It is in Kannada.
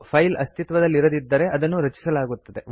ಫೈಲ್ ಅಸ್ತಿತ್ವದಲ್ಲಿರದಿದ್ದರೆ ಅದನ್ನು ರಚಿಸಲಾಗುತ್ತದೆ